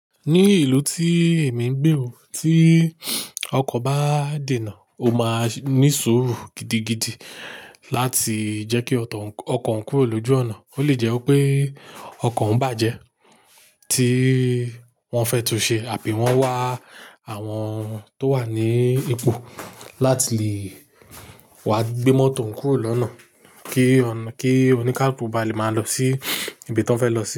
Ní ìlú tí èmi ń gbé wò, tí ọkọ̀ bá dènà, ó máa ní sùúrù gidigidi láti jẹ́ kí ọkọ̀ ń kúrò lójú ọ̀nà. Ó lè jẹ́ wipé ọkọ̀ ń bàjẹ́ tí wọ́n fẹ́ túnṣe àbí wọ́n wá àwọn tó wà ní ipò láti lé wá gbé mọ́tò oùń kúrò lọ́nà kí oníkàlùkú báà lè máa lọ sí ibi tí wọ́n fẹ́ lọ sí.